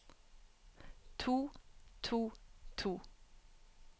to to to